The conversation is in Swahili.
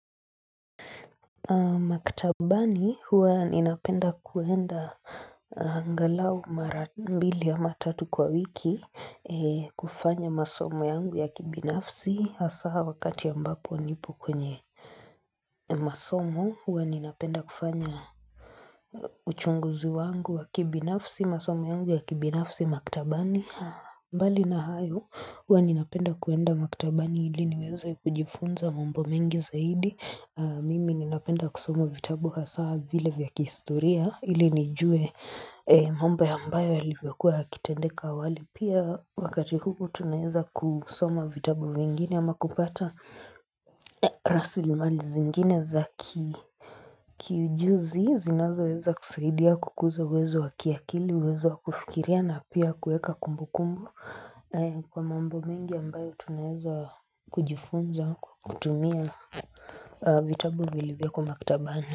Maktabani huwa ninapenda kuenda angalau mara mbili ama tatu kwa wiki kufanya masomo yangu ya kibinafsi hasa wakati a mbapo nipo kwenye masomo huwa ninapenda kufanya uchunguzi wangu wa kibinafsi masomo yangu ya kibinafsi maktabani mbali na hayo, huwa ninapenda kuenda makitabani ili niweza kujifunza mambo mengi zaidi, mimi ninapenda kusoma vitabu hasa vile vya kihistoria ili nijue mambo ya ambayo yalivyokuwa yakitendeka awali pia wakati huu tunaeza kusoma vitabu vingine ama kupata rasili mali zingine za kiujuzi zinazo weza kusaidia kukuza uwezo wakiakili, uwezo wakufikiria na pia kuweka kumbu kumbu. Kwa mambo mengi ambayo tunaeza kujifunza kutumia vitabu vilivyo ko maktabani.